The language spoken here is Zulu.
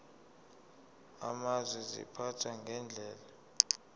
amazwe ziphathwa ngendlela